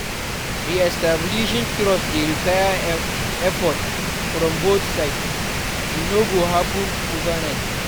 Re-establishing trust dey require effort from both sides; e no go happen overnight.